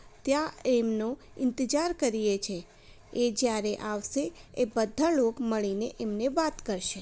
ત્યાં તેમનુ ઇન્તજાર કરીયે છે એ જયારે આવશે એ બધા લોક મળીને એમને વાત કરશે.